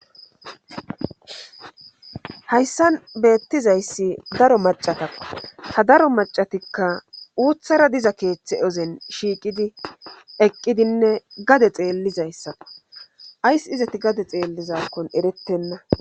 hayssan beettizayssi daro macatako ha daro macatikka uuthara diza keeththe ozen shiiqidi eqqidinne gade xeellizayssako ays izati gade xeellizakkon erettenna